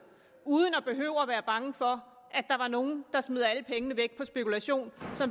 uden at behøve at være bange for at der var nogle der smed alle pengene væk på spekulation